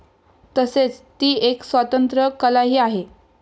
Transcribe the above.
तसेच ती एक स्वतंत्र कलाही आहे.